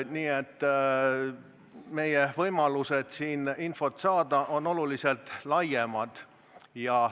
Nii et meie võimalused siin infot saada on tunduvalt laiemad.